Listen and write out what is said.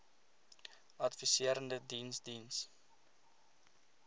adviserende diens diens